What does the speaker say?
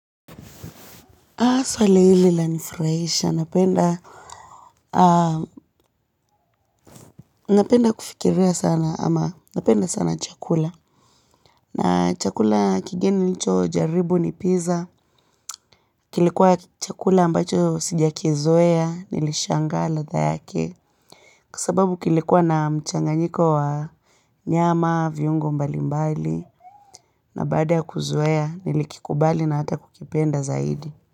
Swali hili lanifurahisha, napenda, napenda kufikiria sana ama napenda sana chakula. Na chakula kigeni nilichojaribu ni pizza. Kilikuwa chakula ambacho sijakizoea, nilishangaa ladha yake. Kwa sababu kilikuwa na mchanganyiko wa nyama, viungo mbali mbali. Na baada ya kuzoea, nilikikubali na hata kukipenda zaidi.